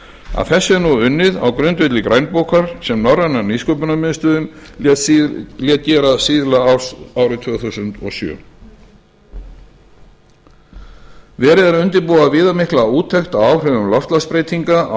að þessu er nú unnið á grundvelli grænbókar sem norræna nýsköpunarmiðstöðin nice lét gera síðla árs tvö þúsund og sjö verið er að undirbúa viðamikla úttekt á áhrifum loftslagsbreytinga á